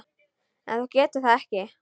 En þú getur það ekki.